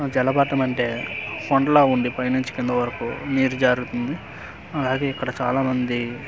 జలపాతం అంటే కొండ లాగ ఉండి పై నుండి కిందకి వరకు నీరు జారుతుంది అది ఇక్కడ చాలా మంది --